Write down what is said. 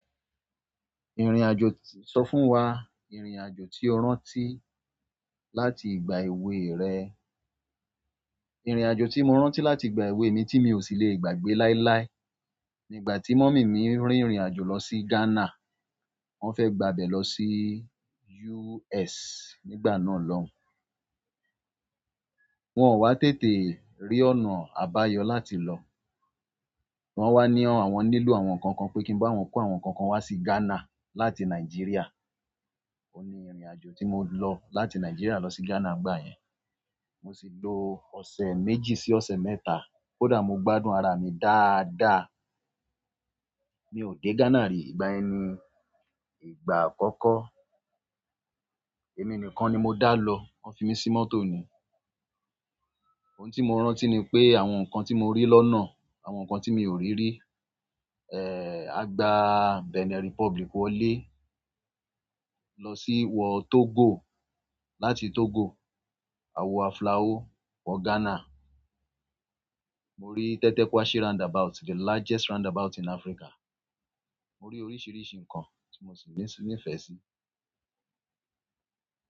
Ìrìnàjò, sọ fún wa ìrìnàjò tí o rántí láti ìgbà èwe rẹ. Ìrìnàjò tí mo rántí láti ìgbà èwe mi tí mi ò sì lè gbàgbé láíláí, nígbà tí mummy mi ń rìnrìnàjò lọ sí Ghana. Wọ́n fẹ́ gbà bé lọ sí US nígbà náà lọ́ùn. Wọn ò wá tètè rí ọ̀nà àbáyọ láti lọ. Wọn wa ni àwọn nílò àwọn nnkankan, pe ki n ba àwọn ko àwọn nnkankan wa si Ghana láti Nigeria. Oun ni ìrìnàjò tí mo lọ láti Nigeria lọ sí Ghana ìgbà yẹn. Mo sì lo ọ̀sẹ̀ méjì sí ọ̀sẹ̀ mẹ́ta. Kódà mo gbádùn ara mi dáadáa, mi ò dé Ghana rí ìgbà yẹn ni, ìgbà àkọ́kọ́. Èmi nìkan ni mo dá lọ. Wọ́n fi mí sí mọ́tò ni. Ohun tí mo rántí ni pé àwọn nǹkan tí mo rí lọ́nà, àwọn nǹkan tí mi ò rí rí. Eh, a gbà Benin Republic wọlé, lọ sí wọ Togo, láti Togo, a wọ Aflao, wọ Ghana. Mo rí tẹ́tẹ́ Kwashi roundabout, the largest roundabout in Africa. Mo rí oríṣìíríṣìí nǹkan tí mo sì ní ìfẹ́ sí.